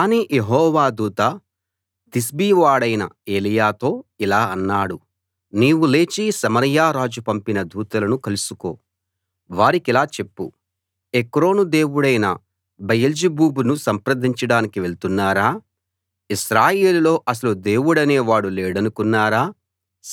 కానీ యెహోవా దూత తిష్బీ వాడైన ఏలీయాతో ఇలా అన్నాడు నీవు లేచి సమరయ రాజు పంపిన దూతలను కలుసుకో వారికిలా చెప్పు ఎక్రోను దేవుడైన బయల్జెబూబును సంప్రదించడానికి వెళ్తున్నారా ఇశ్రాయేలులో అసలు దేవుడనే వాడు లేడనుకున్నారా